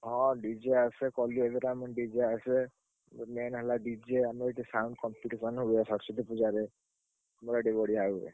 ହଁ DJ ଆସେ ଭସାଣିରେ ଆମର DJ ଆସେ। main ହେଲା DJ ଆମର ଏଠି sound competition ହୁଏ ସରସ୍ୱତୀ ପୂଜାରେ। ଆମର ଏଠି ବଢିଆ ହୁଏ।